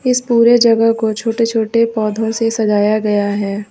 इस पूरे जगह को छोटे छोटे पौधों से सजाया गया है।